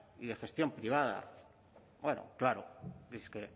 y de gestión privada bueno claro